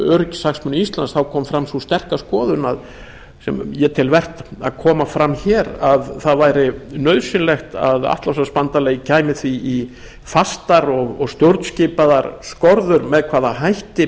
öryggishagsmuni íslands kom fram sú sterka skoðun sem ég tel vert að komi fram hér að það væri nauðsynlegt að atlantshafsbandalagið kæmi því í fastar og stjórnskipaðar skorður með hvaða hætti